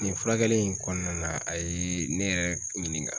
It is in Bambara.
Nin furakɛli in kɔnɔna na a ye ne yɛrɛ ɲininka.